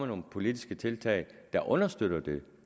nogle politiske tiltag der understøtter det